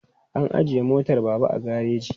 An ajiye motar Baba a gareji.